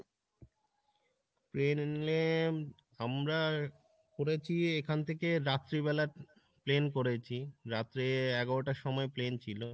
plain এ আমরা করেছি এখন থেকে রাত্রিবেলা plain করেছি রাত্র এগারোটার সময় plain ছিল,